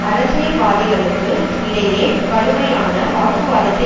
அரசியல்வாதிகளுக்கு இடையே கடுமையான வாக்குவாதத்தை